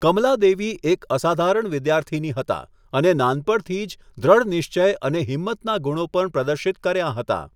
કમલાદેવી એક અસાધારણ વિદ્યાર્થિની હતાં અને નાનપણથી જ દૃઢનિશ્ચય અને હિંમતના ગુણો પણ પ્રદર્શિત કર્યાં હતાં.